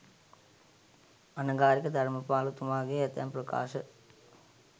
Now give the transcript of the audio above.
අනගාරික ධර්මපාලතුමාගේ ඇතැම් ප්‍රකාශ